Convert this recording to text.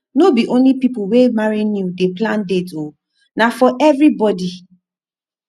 no be only people wey marry new dey plan dates o na for everybodi